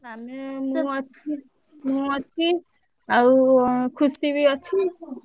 ହୁଁ ମୁଁ ଅଛି ମୁଁ ଅଛି ଆଉ ଖୁସିବି ଅଛି।